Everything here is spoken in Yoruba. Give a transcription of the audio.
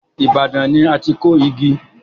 Ibadan ni a ti kọ igi.